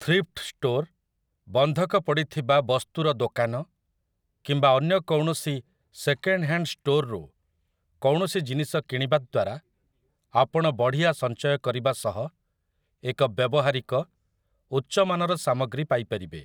Thrift store, ବନ୍ଧକ ପଡ଼ିଥିବା ବସ୍ତୁର ଦୋକାନ କିମ୍ବା ଅନ୍ୟ କୌଣସି ସେକେଣ୍ଡ୍ ହ୍ୟାଣ୍ଡ୍ ଷ୍ଟୋରରୁ କୌଣସି ଜିନିଷ କିଣିବା ଦ୍ୱାରା ଆପଣ ବଢ଼ିଆ ସଞ୍ଚୟ କରିବା ସହ ଏକ ବ୍ୟବହାରିକ, ଉଚ୍ଚ ମାନର ସାମଗ୍ରୀ ପାଇ ପାରିବେ ।